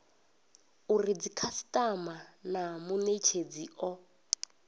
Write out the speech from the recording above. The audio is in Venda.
uri dzikhasitama na munetshedzi o